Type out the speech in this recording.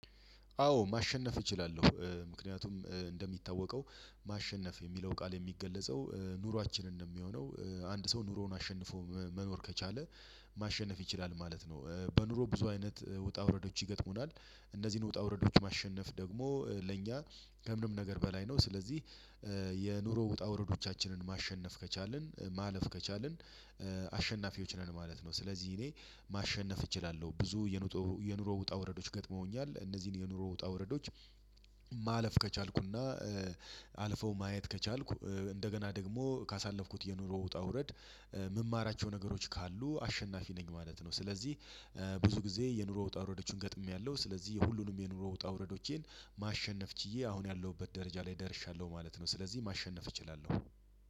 አዎ ማሸነፍ እችላለሁ። ምክንያቱም እንደሚታወቀው ማሸነፍ የሚለው ቃል የሚገለጸው ኑሯችንን ነው ሚሆነው። አንድ ሰው ኑሮውን አሸንፎ መኖር ከቻለ ማሸነፍ ይችላል ማለት ነው። በኑሮ ብዙ አይነት ውጣ ውረዶች ይገጥሙናል እነዚህን ውጣ ውረዶች ማሸነፍ ደግሞ ለእኛ ከምንም ነገር በላይ ነው! ስለዚህ የኑሮ ውጣ ውረዶቻችንን ማሸነፍ ከቻልን ማለፍ ከቻልን አሸናፊዎች ነን ማለት ነው። ስለዚህ እኔ ማሸነፍ እችላለሁ። ብዙ የኑሮ ውጣ ውረዶች ገጥመውኛል። እነዚህን የኑሮ ውጣ ውረዶች ማለፍ ከቻልኩና አልፈው ማየት ከቻልኩ እንደገና ደግሞ ካሳለፍኩት የኑሮ ውጣ ውረድ ምማራቸው ነገሮች ካሉ አሸናፊ ነኝ ማለት ነው። ስለዚህ ብዙ ጊዜ የኑሮ ወጣ ውረዶችን ገጥሜያለሁ። ስለዚህ የሁሉንም የኑሮ ወጣ ውረዶቼን ማሸነፍ ችዬ አሁን ያለሁበት ደረጃ ላይ ደርሻለሁ ማለት ነው። ስለዚህ ማሸነፍ እችላለሁ።